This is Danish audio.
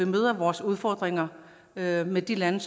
møder vores udfordringer med med de lande